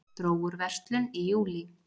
Dró úr verslun í júlí